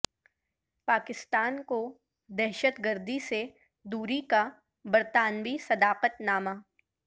پاکستان کو دہشت گردی سے دوری کا برطانوی صداقت نامہ